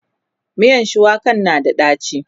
miyan shuwakan na da daci